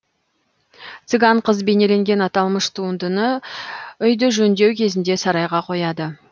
цыган қыз бейнеленген аталмыш туындыны үйді жөндеу кезінде сарайға қояды